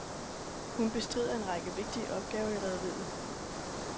Hun bestrider en række vigtige opgaver i rederiet.